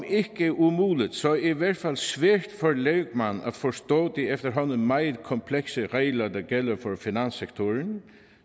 ikke umuligt så i hvert fald svært for en lægmand at forstå de efterhånden meget komplekse regler der gælder for finanssektoren